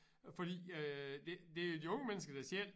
Fordi øh det det er de unge mennesker der selv